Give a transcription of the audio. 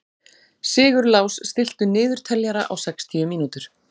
Sigurlás, stilltu niðurteljara á sextíu mínútur.